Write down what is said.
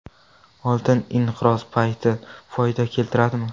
Oltin inqiroz payti foyda keltiradimi?